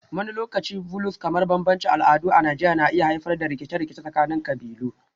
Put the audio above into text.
Wani lokaci Vulues kamar bambancin al'adu a Najeriya na iya haifar da rikice-rikice tsakanin kabilu